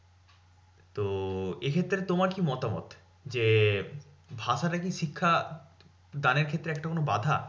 তো এক্ষেত্রে তোমার কি মতামত? যে ভাষাটা কি শিক্ষা দানের ক্ষেত্রে কোনো একটা বাঁধা?